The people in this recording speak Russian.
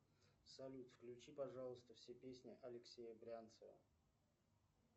салют включи пожалуйста все песни алексея брянцева